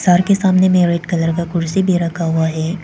Sir के सामने में रेड कलर का कुर्सी भी रखा हुआ है।